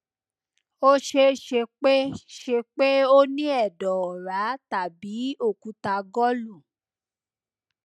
ó ṣeé ṣe pé ṣe pé o ní ẹdọ ọra tàbí okúta gọlu